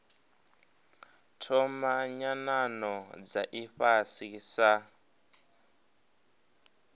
thoma nyanano dza ifhasi sa